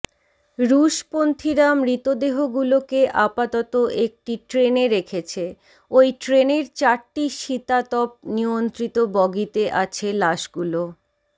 রুশপন্থিরা মৃতদেহগুলোকে আপাতত একটি ট্রেনে রেখেছে ঐ ট্রেনের চারটি শীতাতপ নিয়ন্ত্রিত বগিতে আছে লাশগুলো